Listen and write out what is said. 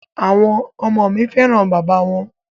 À̀wọn ọmọ mi fẹ́ràn bàbá wọn.